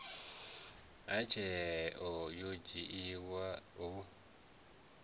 ha tsheo yo dzhiwaho hu